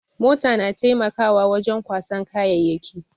Mota na taimakawa wajen kwasan kayayyaki.